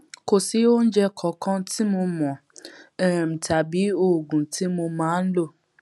kò sí oúnjẹ kankan tí mo mò um tàbí oògùn tí mo máa ń lò